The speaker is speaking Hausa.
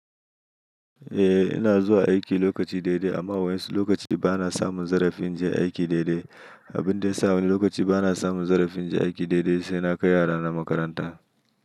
Eh ina zuwa aiki lokaci daidai amma wai insu lokaci ba na samun zarafin inje aiki daidai. Abin da ya sa wani lokaci ba na samun zarafin je aiki daidai, sai na kai yarana makaranta.